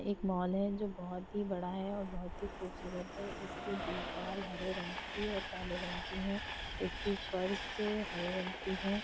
एक मॉल है जो बहुत ही बड़ा है और बहुत ही खूबसूरत है। इसकी दीवाल हरे रंग की और काले रंग की हैं। इसकी फर्श हरे रंग की है।